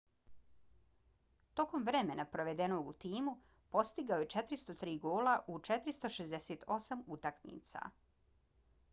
tokom vremena provedenog u timu postigao je 403 gola u 468 utakmica